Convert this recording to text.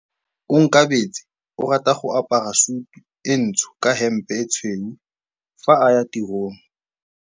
Onkabetse o rata go apara sutu e ntsho ka hempe e tshweu fa a ya tirong.